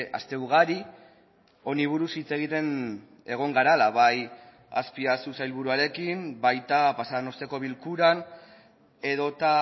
aste ugari honi buruz hitz egiten egon garela bai azpiazu sailburuarekin baita pasa den asteko bilkuran edota